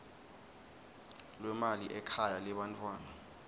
lwemali ekhaya lebantfwana